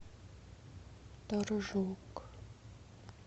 торжок